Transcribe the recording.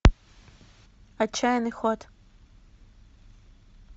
отчаянный ход